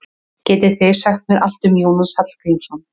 Getið þið sagt mér allt um Jónas Hallgrímsson?